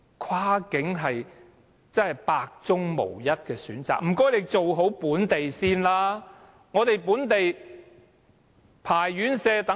跨境只是百中無一的選擇，還是請你先處理好本地的情況吧。